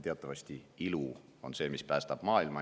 Teatavasti on ilu see, mis päästab maailma.